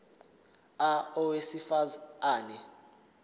a owesifaz ane